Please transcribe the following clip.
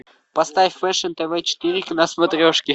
поставь фэшн тв четыре на смотрешке